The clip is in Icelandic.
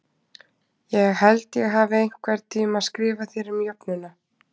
Ég held ég hafi einhvern tíma skrifað þér um jöfnuna